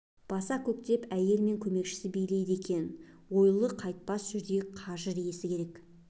баса көктеп әйел мен көмекшісі билейді екен ойлы қайтпас жүрек қажыр иесі керек